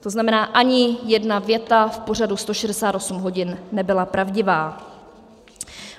To znamená, ani jedna věta v pořadu 168 hodin nebyla pravdivá.